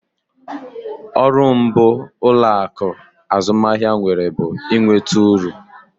Ọrụ mbụ ụlọaku azụmahịa nwere bụ ị nweta uru